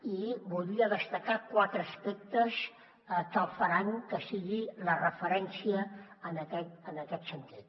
i en voldria destacar quatre aspectes que faran que sigui la referència en aquest sentit